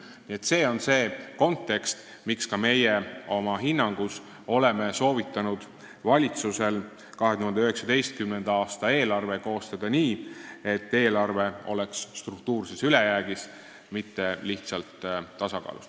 Nii et see on see kontekst, mille tõttu ka meie oma hinnangus oleme soovitanud valitsusel 2019. aasta eelarve koostada nii, et eelarve oleks struktuurses ülejäägis, mitte lihtsalt tasakaalus.